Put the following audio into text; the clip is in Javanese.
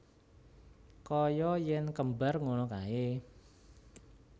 Kaya yen kembar ngono kae